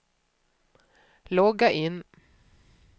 logga in